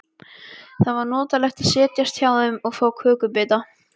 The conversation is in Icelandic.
Það var notalegt að setjast hjá þeim og fá kökubita.